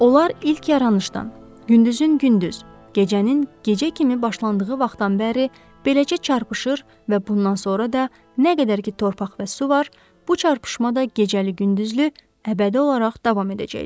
Onlar ilk yaranışdan, gündüzün gündüz, gecənin gecə kimi başlandığı vaxtdan bəri eləcə çarpışır və bundan sonra da nə qədər ki torpaq və su var, bu çarpışma da gecəli-gündüzlü əbədi olaraq davam edəcəkdir.